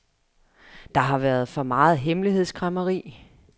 Der har været for meget hemmelighedskræmmeri.